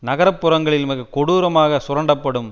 நகரப்பகுதிகளில் மிக கொடூரமாக சுரண்டப்படும்